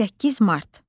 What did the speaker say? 8 Mart.